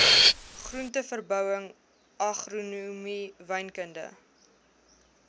groenteverbouing agronomie wynkunde